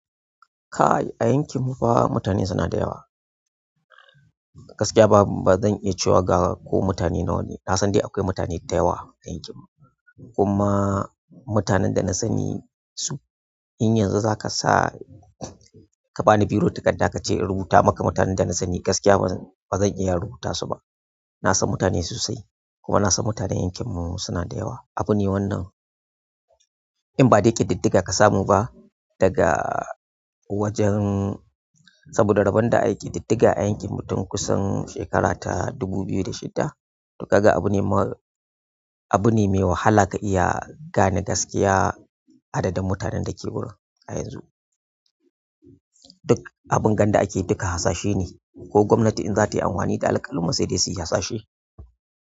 Kai a yankin mu fa mutane suna da yawa. Gaskiya ba zan iya cewa ga ko mutane nawa ne. Na san dai akwai mutane da yawa a yankin mu, kuma mutanen da na sani su in yanzu za ka sa ka bani biro da takarda ka ce in rubuta maka mutanen da na sani gaskiya ba zan iya rubuta su ba. Na san mutane sosai kuma na san mutanen yankin mu suna da yawa. Abu ne wannan in ba dai ƙididdiga ka samu ba daga wajen saboda rabon da ayi ƙididdiga a yankin mu tun kusan shekara ta dubu biyu da shida. To kaga abu ne ma abu ne mai wahala ka iya gane gaskiya adadin mutanen da ke wurin a yanzu. Duk abin ga da ake duka hasashe ne, ko gwamnati in za ta yi amfani da alƙaluman sai dai su yi hasashe.